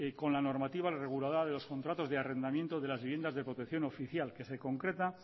con la normativa regulada de los contratos de arrendamientos de las viviendas de protección oficial que se concreta